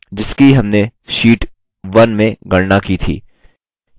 जिसकी हमने शीट 1 में गणना की थी